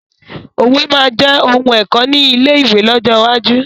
Òwe máa jẹ òun ẹ̀kọ́ ni ilé ìwé lọ́jọ́ iwájú